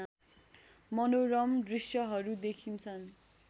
मनोरम दृष्यहरू देखिन्छन्